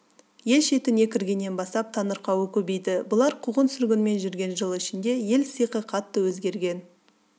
ел шетіне кіргеннен бастап таңырқауы көбейді бұлар қуғын-сүргінмен жүрген жыл ішінде ел сиқы қатты өзгерген